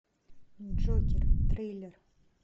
джокер трейлер